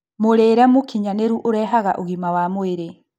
Mũrĩre mũkinyanĩru ũrehaga ũgima wa mwĩrĩ